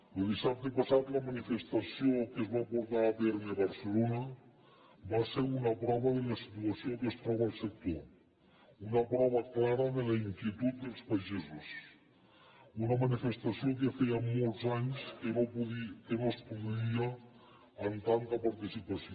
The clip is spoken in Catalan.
lo dissabte passat la manifestació que es va portar a terme a barcelona va ser una prova de la situació en què es troba el sector una prova clara de la inquietud dels pagesos una manifestació que feia molts anys que no es produïa amb tanta participació